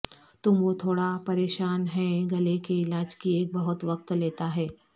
تم وہ تھوڑا پریشان ہیں گلے کے علاج کی ایک بہت وقت لیتا ہے